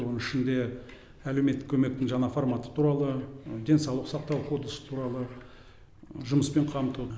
оның ішінде әлеуметтік көмектің жаңа форматы туралы денсаулық сақтау кодексі туралы жұмыспен қамту